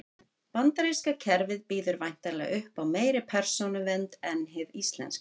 Bandaríska kerfið býður væntanlega upp á meiri persónuvernd en hið íslenska.